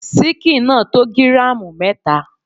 Síkìn náà tó gíràmù mẹta.